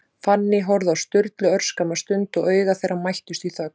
Fanný horfði á Sturlu örskamma stund, og augu þeirra mættust í þögn.